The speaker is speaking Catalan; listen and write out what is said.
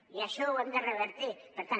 i això ho hem de revertir per tant